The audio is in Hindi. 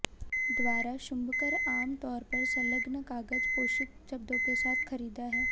द्वारा शुभंकर आम तौर पर संलग्न कागज पोषित शब्दों के साथ खरीदा है